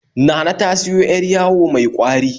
Nana ta siyo 'yar yawo mai ƙwari